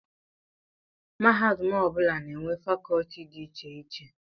Mahadum ọ bụla na-enwe fakọlti dị iche iche